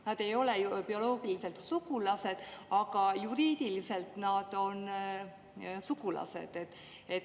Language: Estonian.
Nad ei ole ju bioloogiliselt sugulased, aga juriidiliselt nad on sugulased.